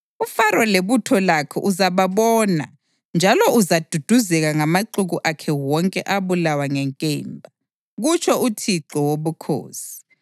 UFaro lebutho lakhe uzababona njalo uzaduduzeka ngamaxuku akhe wonke abulawa ngenkemba, kutsho uThixo Wobukhosi.